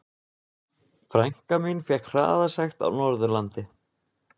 Frænka mín fékk hraðasekt á Norðurlandi.